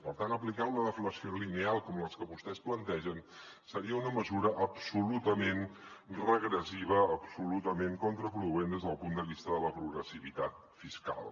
per tant aplicar una deflació lineal com la que vostès plantegen seria una mesura absolutament regressiva absolutament contraproduent des del punt de vista de la progressivitat fiscal